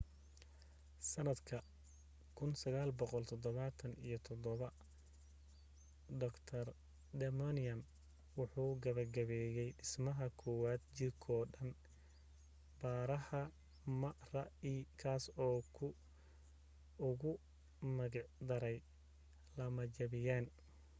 sanadka 1977 dr damadian wuxuu gabagabeyey dhismaha kowad jirkoo-dhan baaraha mri kaas oo uu ugu magic daray lamajabiyaan